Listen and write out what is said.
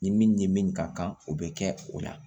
Ni min ni min ka kan o bɛ kɛ o la